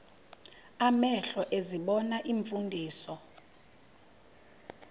amehlo ezibona iimfundiso